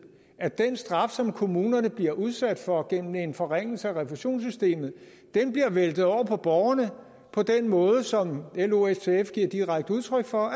at den straf som kommunerne bliver udsat for gennem en forringelse af refusionssystemet bliver væltet over på borgerne på den måde som lo og ftf giver direkte udtryk for